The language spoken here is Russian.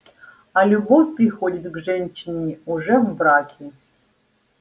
а любовь приходит к женщине уже в браке